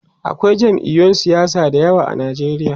akwai jam'iyun siyasa da yawa a Nigeria